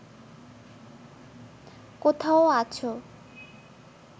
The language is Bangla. কোথাও আছো